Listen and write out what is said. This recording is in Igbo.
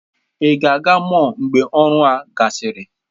Ị ga-aga mọll mgbe ọrụ a gasịrị?